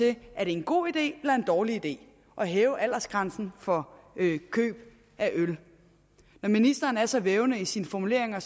det er en god idé eller en dårlig idé at hæve aldersgrænsen for køb af øl når ministeren er så vævende i sine formuleringer